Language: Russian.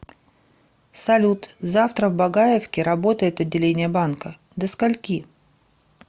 салют завтра в багаевке работает отделение банкадо скольки